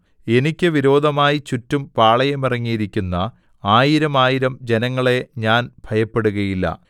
എനിക്ക് വിരോധമായി ചുറ്റും പാളയമിറങ്ങിയിരിക്കുന്ന ആയിരം ആയിരം ജനങ്ങളെ ഞാൻ ഭയപ്പെടുകയില്ല